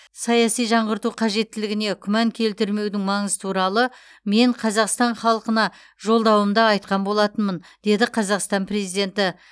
саяси жаңғырту қажеттілігіне күмән келтірмеудің маңызы туралы мен қазақстан халқына жолдауымда айтқан болатынмын деді қазақстан президенті